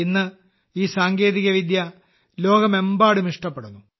ഇന്ന് ഈ സാങ്കേതികോപായം ലോകമെമ്പാടും ഇഷ്ടപ്പെടുന്നു